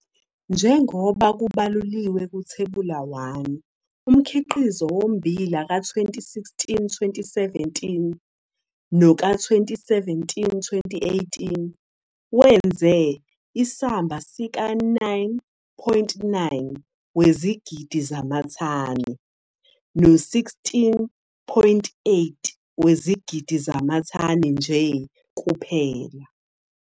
Njengoba kubalulilwe kuThebula 1, umkhiqizo wommbila ka-2016, 2017 noka-2017, 2018 wenze isamba sika-9,9 wezigidi zamathani, no-16,8 wezigidi zamathani nje kuphela.